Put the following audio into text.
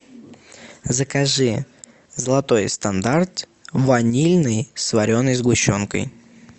закажи золотой стандарт ванильный с вареной сгущенкой